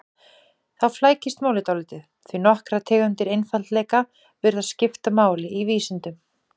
Þá flækist málið dálítið, því nokkrar tegundir einfaldleika virðast skipta máli í vísindum.